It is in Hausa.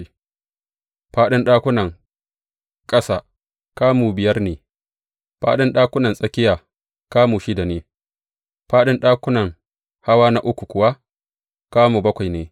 Fāɗin ɗakunan ƙasa, kamu biyar ne, fāɗin ɗakunan tsakiya, kamu shida ne, fāɗin ɗakunan hawa na uku kuwa, kamu bakwai ne.